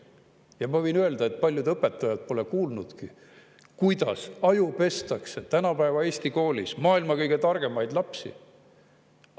Ja ma võin öelda, et paljud õpetajad pole kuulnudki, kuidas ajupestakse tänapäeva Eesti koolis maailma kõige targemaid lapsi.